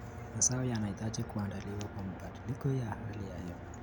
Mazao yanahitaji kuandaliwa kwa mabadiliko ya hali ya hewa.